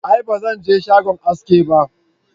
a'a ba Zan je shagon haski ba